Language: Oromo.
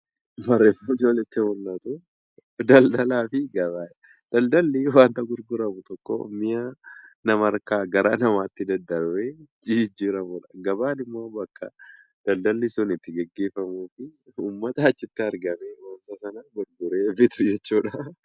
Daldalaa fi gabaa. Daldalli waan gurguramu tokko mi'a namarraa gara namaatti darbee jijjiiramuudha. Gabaan immoo bakka daldalli Suni itti gaggeeffamuu fi uummata achitti argamee gurguree bitu jeechuudha.